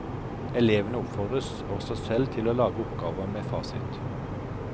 Elevene oppfordres også selv til å lage oppgaver med fasit.